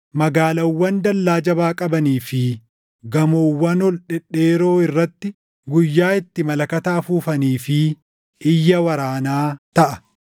magaalaawwan dallaa jabaa qabanii fi gamoowwan ol dhedheeroo irratti guyyaa itti malakata afuufanii fi iyya waraanaa taʼa.